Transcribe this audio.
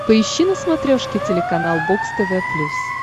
поищи на смотрешке телеканал бокс тв плюс